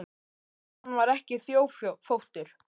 Gott ef hann var ekki þjófóttur.